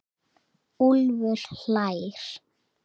Úlfur hlær.